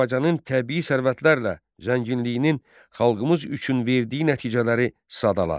Azərbaycanın təbii sərvətlərlə zənginliyinin xalqımız üçün verdiyi nəticələri sadala.